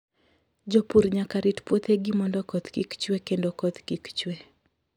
Jopur nyaka rit puothegi mondo koth kik chue kendo koth kik chue.